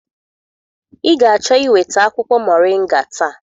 Ị ga-achọ iweta akwụkwọ mọrịnga taa.